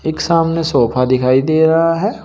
एक सामने सोफा दिखाई दे रहा है।